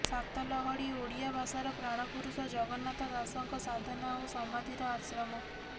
ସାତ ଲହଡ଼ି ଓଡ଼ିଆ ଭାଷାର ପ୍ରାଣପୁରୁଷ ଜଗନ୍ନାଥ ଦାସଙ୍କ ସାଧନା ଓ ସମାଧିର ଆଶ୍ରମ